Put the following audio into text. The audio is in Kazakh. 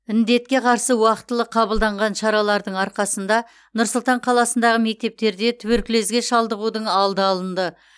індетке қарсы уақытылы қабылданған шаралардың арқасында нұр сұлтан қаласындағы мектептерде туберкулезге шалдығудың алды алынды